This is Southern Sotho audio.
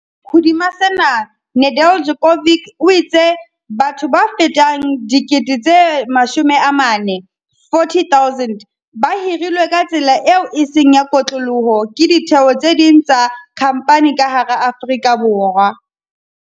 Hodima sena, Nedeljkovic o itse batho ba fetang 40 000 ba hirilwe ka tsela eo e seng ya kotloloho ke ditheo tse ding tsa khamphani ka hara Afrika Borwa.